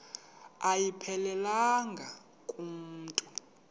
ayiphelelanga ku mntu